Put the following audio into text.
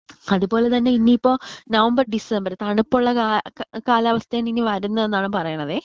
അതുപോലെ തന്നെ ഇനീപ്പോ നവംബർ ഡിസംബർ തണുപ്പുള്ള കാല കാലാവസ്ഥ ആണ് ഇനി വരുന്നേന്നാണ് പറയണതെ.